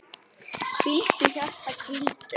Hvíldu, hjarta, hvíldu.